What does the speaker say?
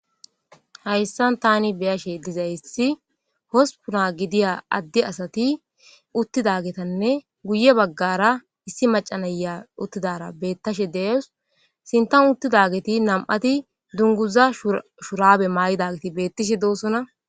hayssan tani beyashe diza hospuna gidiya addi asati uttidagetanne guye baggara issi maca na'ia uttidara bettashshe de'awus sinttan uttidageti nam'atti dungguza shurabe ma'idageti bettishshe dossona